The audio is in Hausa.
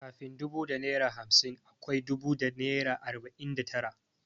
Kafin dubu da naira hamsin akwai dubu da naira arbanin da tara.